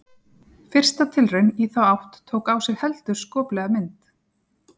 Fyrsta tilraun í þá átt tók á sig heldur skoplega mynd.